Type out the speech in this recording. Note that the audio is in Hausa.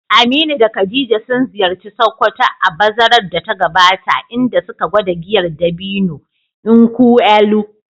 Aminu da Khadija sun ziyarci Sokoto a bazarar da ta gabata, inda suka gwada giyar dabino, (nkwu elu).